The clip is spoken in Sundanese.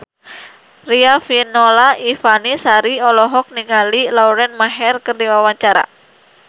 Riafinola Ifani Sari olohok ningali Lauren Maher keur diwawancara